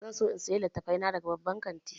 Zan so in sayi littattafai na daga babban kantin.